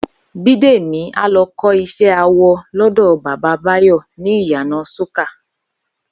Bídèmí á lọ kọ́ iṣẹ́ awọ lọ́dọ̀ Bàbá Báyọ̀ ní ìyànà Sókà